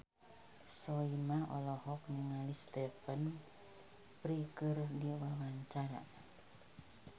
Soimah olohok ningali Stephen Fry keur diwawancara